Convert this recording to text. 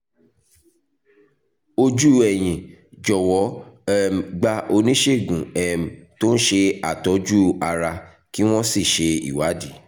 ojú ẹ̀yìn jọ̀wọ́ um gba oníṣègùn um tó ń ṣe àtọ́jú ara kí wọ́n sì ṣe ìwádìí